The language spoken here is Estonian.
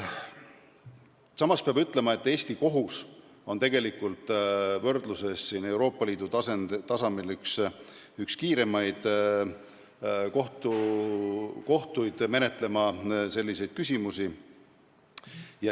Samas peab ütlema, et Eesti kohus on Euroopa Liidus üks kiiremini selliseid küsimusi menetlev kohus.